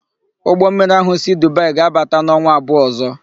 Ụgbọmmiri ahụ si Dubaị ga-abata n'ọnwa abụọ ọ̀zọ́.